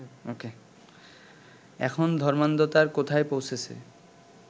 এখন ধর্মান্ধতার কোথায় পৌঁছেছে